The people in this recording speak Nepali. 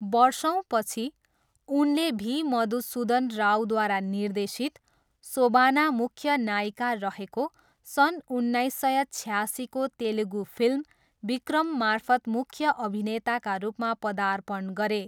वर्षौँपछि, उनले भी मधुसुधन रावद्वारा निर्देशित, सोबाना मुख्य नायिका रहेको सन् उन्नाइस सय छयासीको तेलुगु फिल्म विक्रममार्फत् मुख्य अभिनेताका रूपमा पदार्पण गरे।